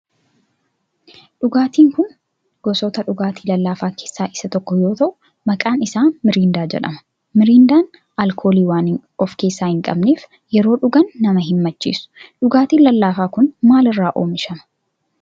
Dhugaatin kun gosoota dhugaatii lallaafaa keessaa isa tokko yoo ta'u maqaan isaa mirindaa jedhama. mirindaan alkoolii waan of keessaa hin qabneef yeroo dhugan nama hin macheessu. dhugaatin lallaafaan kun maal irraa oomishama?